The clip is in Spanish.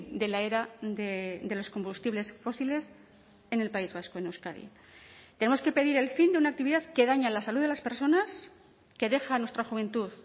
de la era de los combustibles fósiles en el país vasco en euskadi tenemos que pedir el fin de una actividad que daña la salud de las personas que deja a nuestra juventud